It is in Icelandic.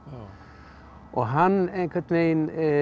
og hann einhvern veginn